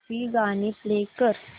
सूफी गाणी प्ले कर